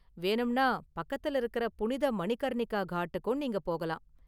வேணும்னா பக்கத்துல இருக்குற புனித மணிகர்ணிகா காட்டுக்கும் நீங்க போகலாம்.